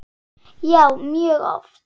Já, mjög oft.